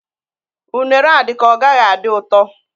Unere a dị ka ọ gaghị adị ụtọ